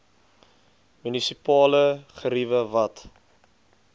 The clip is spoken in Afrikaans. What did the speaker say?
munisipale geriewe wat